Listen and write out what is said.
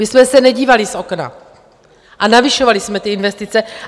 My jsme se nedívali z okna a navyšovali jsme ty investice.